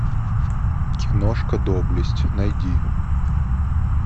киношка доблесть найди